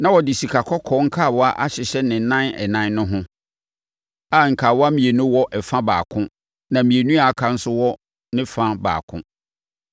Na wɔde sikakɔkɔɔ nkawa ahyehyɛ ne nan ɛnan no ho, a nkawa mmienu wɔ ɛfa baako na mmienu a aka no nso wɔ ɛfa baako.